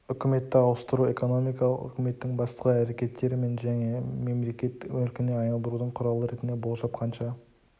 үкіметті ауыстыру экономикалық үкіметтің басқа әрекеттері мен және мемлекет мүлкіне айналдырудың құралы ретінде болжап қанша